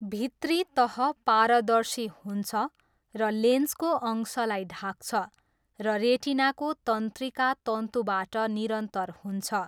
भित्री तह पारदर्शी हुन्छ र लेन्सको अंशलाई ढाक्छ, र रेटिनाको तन्त्रिका तन्तुबाट निरन्तर हुन्छ।